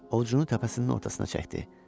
Ovucunu təpəsinin ortasına çəkdi.